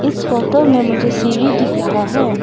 इस फोटो में मुझे सीढ़ी दिख रहा है।